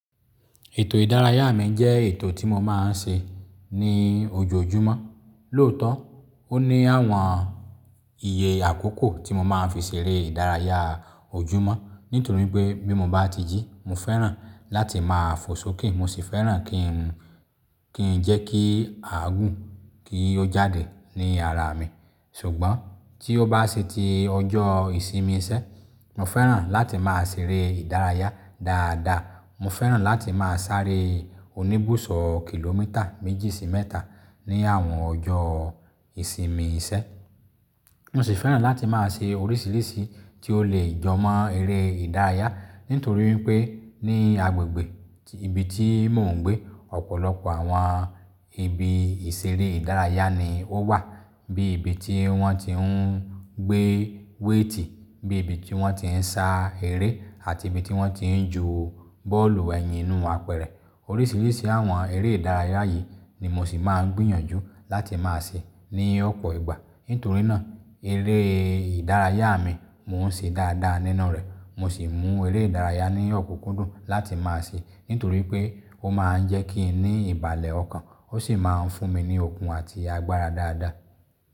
Ètò ìdárayá mi jẹ́ ètò tí mo máa ń ṣe ní ojoojúmọ́. Lóòótọ́, ó ní àwọn iye àkókò tí mo máa ń fi ṣeré ìdárayá ojúmọ́. Nítorí pé bí mo bá ti jí, mo fẹ́ràn láti máa fò sókè. Mo sì fẹ́ràn kí n, kí n jẹ́ kí àgùn kí ó jáde ní ara mi. Ṣùgbọ́n tí ó bá sí ti ọjọ́ ìsinmi sẹ́, mo fẹ́ràn láti máa ṣeré ìdárayá dáadáa. Mo fẹ́ràn láti máa sáré oníbùsọ̀ kìlómítà méjì sí mẹ́ta ní àwọn ọjọ́ ìsinmi sẹ́. Mo sì fẹ́ràn láti máa ṣe oríṣiríṣi tí ó lè jọmọ́ eré ìdárayá. Nítorí pé ní agbègbè ibi tí mò ń gbé, ọ̀pọ̀lọpọ̀ àwọn ibi ìṣeré ìdárayá ni ó wà. Bí ibi tí wọ́n ti ń gbé wétì, bí ibi tí wọ́n ti ń sá eré àti ibi tí wọ́n ti ń jù bọ́ọ̀lù ẹ̀yìn nú apẹ̀rẹ̀. Oríṣiríṣi àwọn eré ìdárayá yìí ni mo sì máa ń gbìyànjú láti máa ṣe ní ọ̀pọ̀ ìgbà. Nítorí náà eré ìdárayá mi mò ń ṣe dáadáa nínà rẹ̀. Mo sì mú eré ìdárayá ní ọ̀kúkúndùn láti máa ṣe. Nítorí pé ó máa ń jẹ́ kí n ní ìbàlẹ̀ ọkàn. Ó sì máa ń fún mi ní okun àti agbára dáadáa.